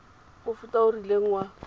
mofuta o o rileng wa